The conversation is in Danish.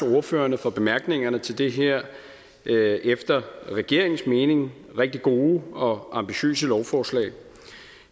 til ordførerne for bemærkningerne til det her efter regeringens mening rigtig gode og ambitiøse lovforslag